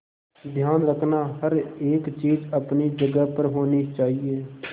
ध्यान रखना हर एक चीज अपनी जगह पर होनी चाहिए